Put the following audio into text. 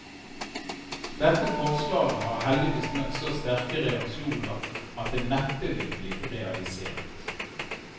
Dette forslaget har heldigvis møtt så sterke reaksjoner at det neppe vil bli realisert.